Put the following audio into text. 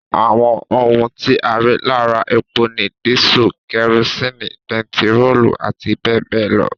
Àwọn ohun tí a rí lára epo ni dísù, kerosini, bentiróòlù àti bẹẹbẹẹ lọ